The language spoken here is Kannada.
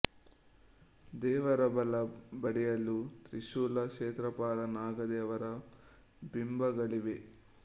ದೇವರ ಬಲ ಬದಿಯಲ್ಲಿ ತ್ರಿಶೂಲ ಕ್ಷೇತ್ರಪಾಲ ನಾಗ ದೇವರ ಬಿಂಬಗಳಿವೆ